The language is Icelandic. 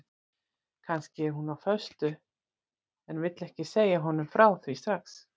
Kannski er hún á föstu en vill ekki segja honum frá því strax.